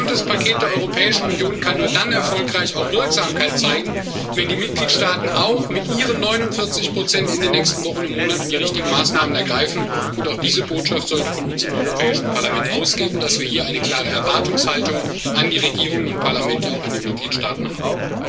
Denn unser gesamtes Paket der Europäischen Union kann nur dann auch erfolgreich Wirksamkeit zeigen, wenn die Mitgliedstaaten auch mit ihren 49 in den nächsten Wochen und Monaten die richtigen Maßnahmen ergreifen. Und auch diese Botschaft sollte von uns im Europäischen Parlament ausgehen, dass wir hier eine klare Erwartungshaltung auch an die Regierungen und Parlamente in den Mitgliedstaaten haben.